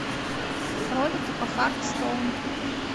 ролики по хард стоун